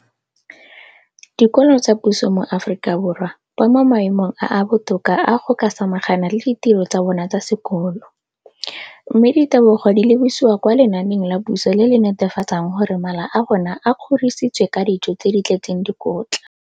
Dikolo tsa puso mo Aforika Borwa ba mo maemong a a botoka a go ka samagana le ditiro tsa bona tsa sekolo, mme ditebogo di lebisiwa kwa lenaaneng la puso le le netefatsang gore mala a bona a kgorisitswe ka dijo tse di tletseng dikotla.